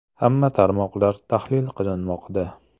Hamma tarmoqlar tahlil qilinmoqda.